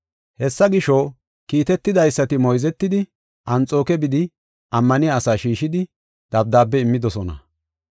Hessa gisho, kiitetidaysati moyzetidi Anxooke bidi ammaniya asaa shiishidi, dabdaabe immidosona.